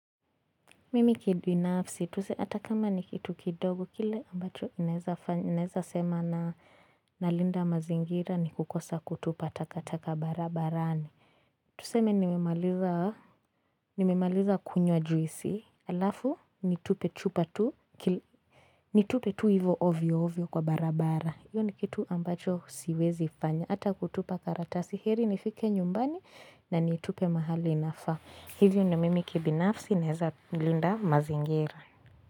Mimi kibinafsi, tuseme hata kama ni kitu kidogo, kile ambacho ninaeza sema nalinda mazingira ni kukosa kutupa takataka barabarani. Tuseme nimemaliza kunywa juisi, alafu, nitupe chupa tu, nitupe tu hivo ovyo ovyo kwa barabara. Hiyo ni kitu ambacho siwezi fanya, hata kutupa karatasi, heri nifike nyumbani na nitupe mahali inafaa. Hivyo ndio mimi kibinafsi naeza linda mazingira.